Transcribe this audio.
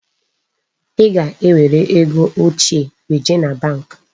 Ị ga-ewere ego ochie weje na bank.